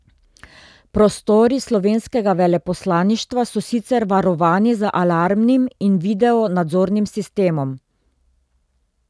Prostori slovenskega veleposlaništva so sicer varovani z alarmnim in video nadzornim sistemom.